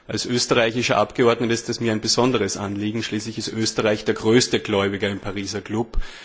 Als österreichischer Abgeordneter ist es mir ein besonderes Anliegen, schließlich ist Österreich der größte Gläubiger im Pariser Klub.